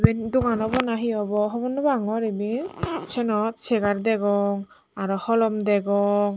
em dogan obo na hi obo hobor naw pangor iben senot segar degong aro holom degong.